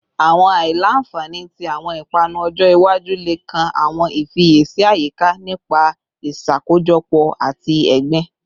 Awọn aila-nfani ti awọn ipanu ọjọ iwaju le kan awọn ifiyesi ayika nipa iṣakojọpọ ati egbin